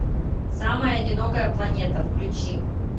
самая одинокая планета включи